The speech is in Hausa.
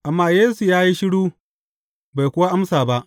Amma Yesu ya yi shiru, bai kuwa amsa ba.